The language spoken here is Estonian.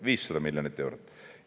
500 miljonit eurot!